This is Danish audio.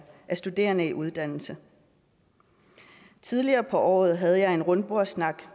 studerende i uddannelse tidligere på året havde jeg en rundbordssnak